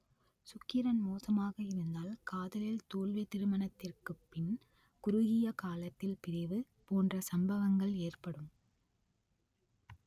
சுக்கிரன் மோசமாக இருந்தால் காதலில் தோல்வி திருமணத்திற்கு பின் குறுகிய காலத்தில் பிரிவு போன்ற சம்பவங்கள் ஏற்படும்